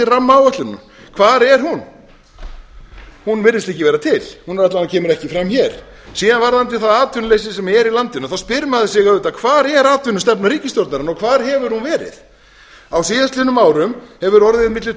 rammaáætlunina hvar er hún hún virðist ekki vera til hún kemur alla vega ekki fram hér síðan varðandi það atvinnuleysi sem er í landinu þá spyr maður sig auðvitað hvar er atvinnustefna ríkisstjórnarinnar og hvar hefur hún verið á síðastliðnum árum hefur orðið milli